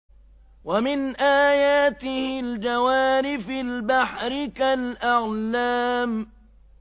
وَمِنْ آيَاتِهِ الْجَوَارِ فِي الْبَحْرِ كَالْأَعْلَامِ